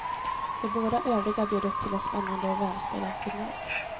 De båda övriga bjöd upp till en spännande och välspelad final.